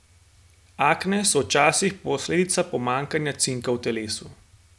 Akne so včasih posledica pomanjkanja cinka v telesu.